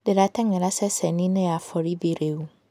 Ndĩrateng'era ceceni-inĩ ya borithi rĩu